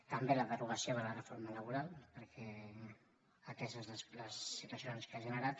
també la derogació de la reforma laboral perquè ateses les situacions que ha generat